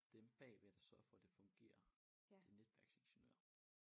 Dem bagved der sørger for det fungerer det netværksingeniører